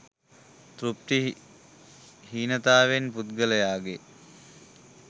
තෘප්ති හීනතාවෙන් පුද්ගලයාගේ